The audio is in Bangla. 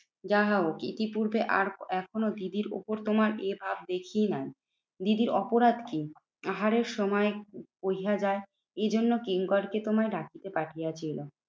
যাহাও ইতিপূর্বে আর এখনও দিদির উপর তোমার এভাব দেখি নাই। দিদির অপরাধ কি? আহারের সময় বৈহা যায় এজন্য কিঙ্করকে তোমায় ডাকিতে পাঠিয়েছিলাম।